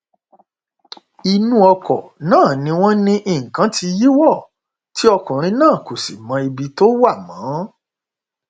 inú ọkọ náà ni wọn ní nǹkan tí yíwọ tí ọkùnrin náà kò sì mọ ibi tó wà mọ